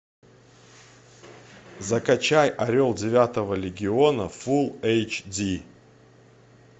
закачай орел девятого легиона фулл эйч ди